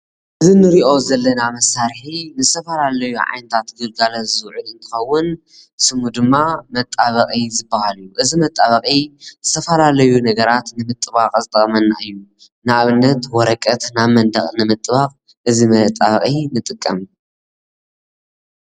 እዚ እንሪኦ ዘለና መሳርሒ ንዝተፈላለዩ ዓይነታት ግልጋሎት ዝውዕል እንትኸውን ስሙ ድማ መጣበቂ ዝበሃል እዚ መጣበቂ ዝተፈላለዩ ነገራት ንምጥባቅ ዝጠቅመና እዩ ንኣብነት ወረቀት ናብ መንደቅ ንምጥባቅ እዚ መጣበቂ ንጥቀም።